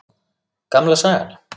Gamla sagan.